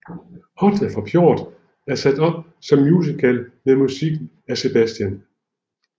Hodja fra Pjort er sat op som musical med musik af Sebastian